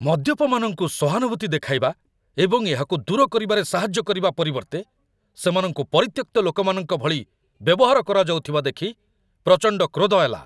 ମଦ୍ୟପମାନଙ୍କୁ ସହାନୁଭୂତି ଦେଖାଇବା ଏବଂ ଏହାକୁ ଦୂର କରିବାରେ ସାହାଯ୍ୟ କରିବା ପରିବର୍ତ୍ତେ, ସେମାନଙ୍କୁ ପରିତ୍ୟକ୍ତ ଲୋକମାନଙ୍କ ଭଳି ବ୍ୟବହାର କରାଯାଉଥିବା ଦେଖି ପ୍ରଚଣ୍ଡ କ୍ରୋଧ ହେଲା।